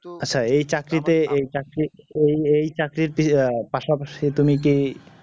আচ্ছা এই চাকরিতে এই চাকরি ওই ওই চাকরিতে আহ পাশাপাশি তুমি কি